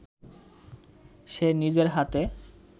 সে নিজের হাতে